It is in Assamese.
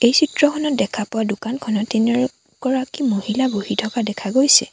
এই চিত্ৰখনত দেখা পোৱা দোকানখনত তিনিও গৰাকী মহিলা বহি থকা দেখা গৈছে।